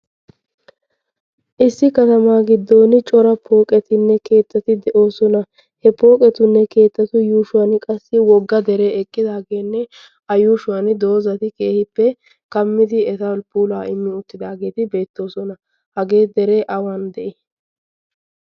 issi katamaa giddon cora pooqetinne keettati de'oosona. he pooqetunne keettatu yuushuwan qassi wogga dere eqqidaageenne a yuushuwan doozati keehippe kammidi etapulaa immi uttidaageeti beettoosona. hagee dere awan de'i?